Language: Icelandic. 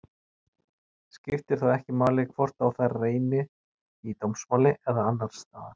Skiptir þá ekki máli hvort á þær reynir í dómsmáli eða annars staðar.